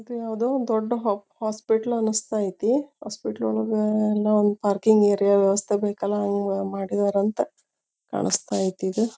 ಇದು ಯಾವುದೊ ದೊಡ್ಡ್ ಹಾಸ್ಪಿಟಲ್ ಅನ್ನಿಸ್ತಾ ಐತಿ. ಹಾಸ್ಪಿಟಲ್ ಒಳಗ ಯಲ್ಲೋ ಪಾರ್ಕಿಂಗ್ ಏರಿಯಾ ವ್ಯಸ್ಥೆ ಬೇಕಲ್ಲ ಹಂಗ್ ಮಾಡಿದರ ಅಂತ ಕಾನಾಸ್ತಾ ಐಯ್ತ್ ಇದ.